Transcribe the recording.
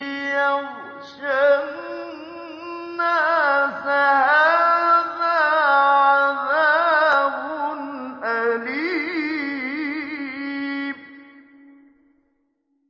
يَغْشَى النَّاسَ ۖ هَٰذَا عَذَابٌ أَلِيمٌ